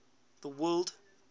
the word